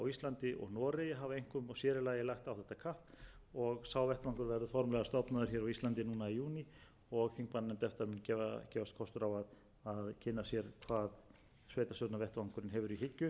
kapp og sá vettvangur verður formlega stofnaður hér á íslandi núna í júní og þingmannanefnd efta mun gefast kostur á að kynna sér hvað sveitarstjórnarvettvangurinn hefur í hyggju í samstarfsmálefnum